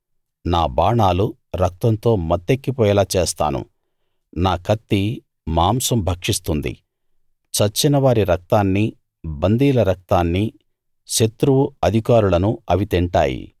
నా బాణాలు రక్తంతో మత్తెక్కి పోయేలా చేస్తాను నా కత్తి మాంసం భక్షిస్తుంది చచ్చిన వారి రక్తాన్నీ బందీల రక్తాన్నీ శత్రువు అధికారులనూ అవి తింటాయి